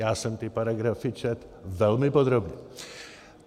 Já jsem ty paragrafy četl velmi podrobně.